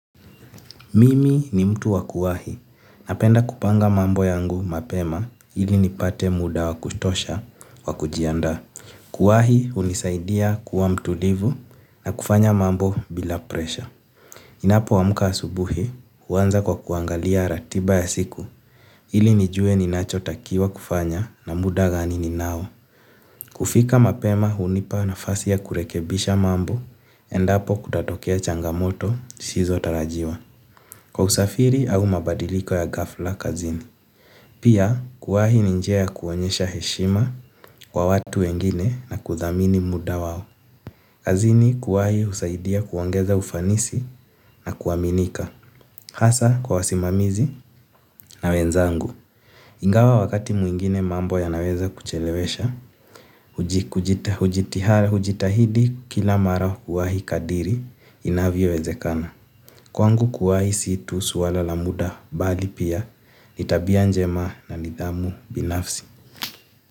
Mimi ni mtu wa kuwahi napenda kupanga mambo yangu mapema ili nipate muda wa kutosha wa kujiandaa. Kuwahi hunisaidia kuwa mtulivu na kufanya mambo bila presha. Ninapoamka asubuhi huanza kwa kuangalia ratiba ya siku ili nijue ninachotakiwa kufanya na muda gani ninao. Kufika mapema hunipa nafasi ya kurekebisha mambo endapo kutatokea changamoto zisizo tarajiwa. Kwa usafiri au mabadiliko ya ghafla kazini. Pia kuwahi ni njia ya kuonesha heshima kwa watu wengine na kuthamini muda wao. Kazini kuwahi husaidia kuongeza ufanisi na kuaminika. Hasa kwa wasimamizi na wenzangu. Ingawa wakati mwingine mambo yanaweza kuchelewesha, hujitahidi kila mara kuwahi kadri inavyowezekana. Kwangu kuwahi si tu suala la muda bali pia ni tabia njema na nidhamu binafsi.